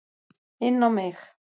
Inn á mig.